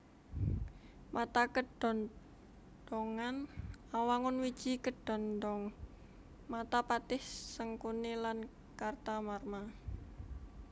Mata kedhondhongan Awangun wiji kedhondhong mata Patih Sengkuni lan Kartamarma